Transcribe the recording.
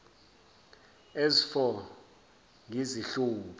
as for ngizihluphe